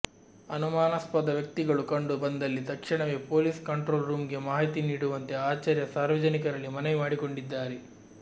ಅನುಮಾನಾಸ್ಪದ ವ್ಯಕ್ತಿಗಳು ಕಂಡು ಬಂದಲ್ಲಿ ತಕ್ಷಣವೇ ಪೊಲೀಸ್ ಕಂಟ್ರೋಲ್ ರೂಮ್ ಗೆ ಮಾಹಿತಿ ನೀಡುವಂತೆ ಆಚಾರ್ಯ ಸಾರ್ವಜನಿಕರಲ್ಲಿ ಮನವಿ ಮಾಡಿಕೊಂಡಿದ್ದಾರೆ